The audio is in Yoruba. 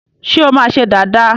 Ṣé o máa ṣe dàda?